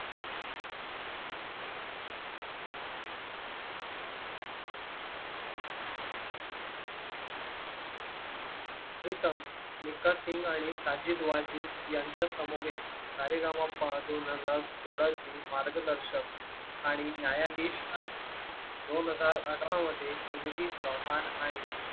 प्रीतम मिका सिंग आणि साजिद वाजीद यांच्या समूह ए सा रे गा मा पा दोन हजार सोळा ची मार्गदर्शक आणि न्यायाधीश आहे दोन हजार अठरा मध्ये सुनिधी चौहान आणि.